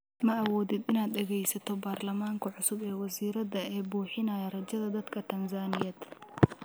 Ma awoodid inaad dhageysato Barlamaanka cusub ee wasiirrada ee buuxinaya rajada dadka Tanzaniyeed?